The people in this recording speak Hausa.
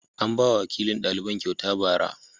An ba wa wakilin daliban kyauta ba'ara.